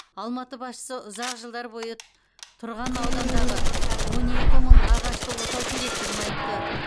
алматы басшысы ұзақ жылдар бойы тұрған аудандағы он екі мың ағашты отау керектігін айтты